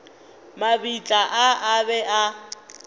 mabitla a a be a